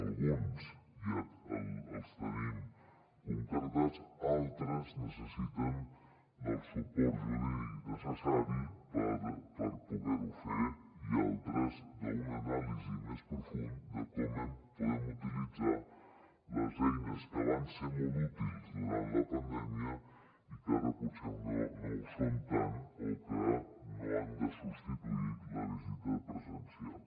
alguns ja els tenim concretats altres necessiten el suport jurídic necessari per poder ho fer i altres una anàlisi més profunda de com podem utilitzar les eines que van ser molt útils durant la pandèmia i que ara potser no ho són tant o que no han de substituir la visita presencial